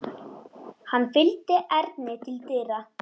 Hann fylgdi Erni til dyra.